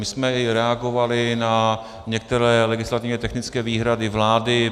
My jsme i reagovali na některé legislativně technické výhrady vlády.